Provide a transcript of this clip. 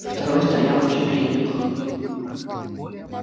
второй стоял на четвереньках